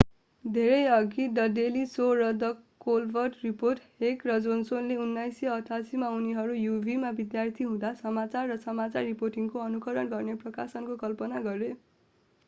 धेरैअघि the Daily Show र the Colbert Report Keck र जोनसनले 1988 मा उनीहरू uw मा विद्यार्थी हुँदा समाचार र समाचार रिपोर्टिङको अनुकरण गर्ने प्रकाशनको कल्पना गरे